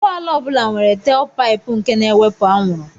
Ụgbọala ọ bụla nwere telpaịpụ nke na-ewepụ anwụrụ.